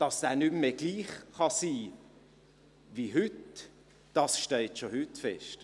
Dass der Preis nicht mehr gleich sein kann wie heute, steht schon heute fest.